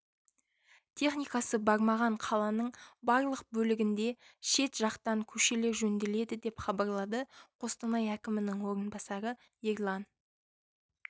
техникасы бармаған қаланың барлық бөлігінде шет жатқан көшелер жөнделеді деп хабарлады қостанай әкімінің орынбасары ерлан